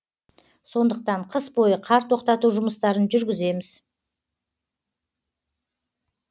сондықтан қыс бойы қар тоқтату жұмыстарын жүргіземіз